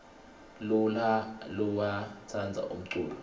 lulha luyainu tsandza umculo